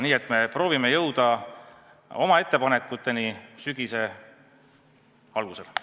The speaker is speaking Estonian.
Nii et me proovime jõuda oma ettepanekuteni sügise alguses.